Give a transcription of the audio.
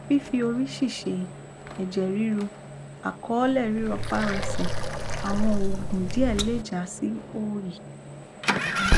fífi orí ṣìṣe ẹjẹ ríru àkọọlẹ rírọparọsẹ àwọn òògùn díẹ lè já sí òòyì